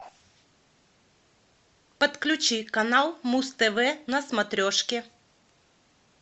подключи канал муз тв на смотрешке